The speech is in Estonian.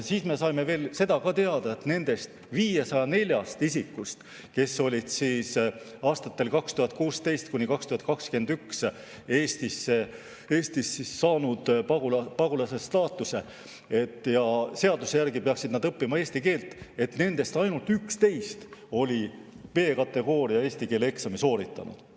Me saime ka teada, et nendest 504 isikust, kes aastatel 2016–2021 said Eestis pagulase staatuse ja seaduse järgi oleksid pidanud õppima eesti keelt, ainult 11 on B‑kategooria eesti keele eksami sooritanud.